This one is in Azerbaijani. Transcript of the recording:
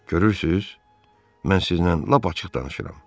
Görürsüz, mən sizinlə lap açıq danışıram.